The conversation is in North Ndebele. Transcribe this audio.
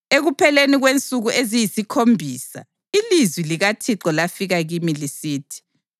Ekupheleni kwensuku eziyisikhombisa ilizwi likaThixo lafika kimi lisithi,